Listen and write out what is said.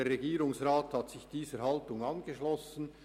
Der Regierungsrat hat sich dieser Haltung angeschlossen.